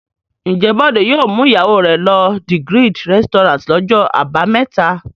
Ǹjẹ́ Bọ̀dé yóò mú ìyàwó rẹ̀ lọ The Grid restaurant lọ́jọ́ àbámẹ́ta?